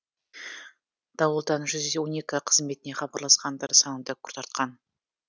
дауылдан жүз он екі қызметіне хабарласқандар саны да күрт артқан